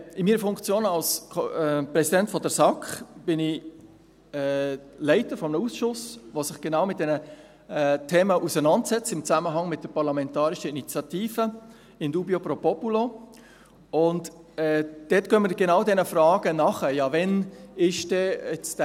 In meiner Funktion als Präsident der SAK bin ich Leiter eines Ausschusses, der sich im Zusammenhang mit der parlamentarischen Initiative «In dubio pro populo» genau mit diesen Themen auseinandersetzt.